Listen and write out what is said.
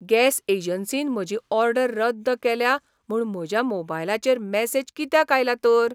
Gas एजन्सीन म्हजी order रद्द केल्या म्हूण म्हज्या मोबायलचेर मॅसेज कित्याक आयला तर?